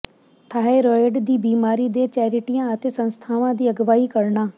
thyroid ਦੀ ਬਿਮਾਰੀ ਦੇ ਚੈਰਿਟੀਆਂ ਅਤੇ ਸੰਸਥਾਵਾਂ ਦੀ ਅਗਵਾਈ ਕਰਨਾ